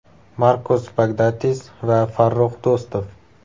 Markos Bagdatis va Farrux Do‘stov.